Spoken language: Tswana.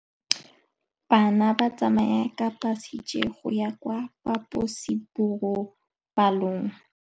Bana ba tsamaya ka phašitshe go ya kwa phaposiborobalong.